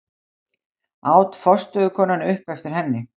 át forstöðukonan upp eftir henni.